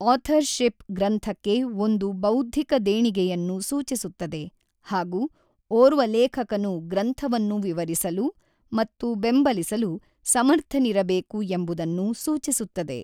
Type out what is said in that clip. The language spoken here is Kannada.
ಆಥರ್ ಶಿಪ್ ಗ್ರಂಥಕ್ಕೆ ಒಂದು ಬೌದ್ಧಿಕ ದೇಣಿಗೆಯನ್ನು ಸೂಚಿಸುತ್ತದೆ ಹಾಗೂ ಓರ್ವ ಲೇಖಕನು ಗ್ರಂಥವನ್ನು ವಿವರಿಸಲು ಮತ್ತು ಬೆಂಬಲಿಸಲು ಸಮರ್ಥನಿರಬೇಕು ಎಂಬುದನ್ನು ಸೂಚಿಸುತ್ತದೆ.